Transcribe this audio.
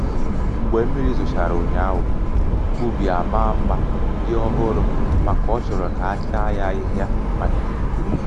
mgbe mmiri zochara ụnyaahụ ubi amaá mma dị um ọhụrụ màkà ọ chọrọ ka achaa ya ahịhịa màkà ifufe.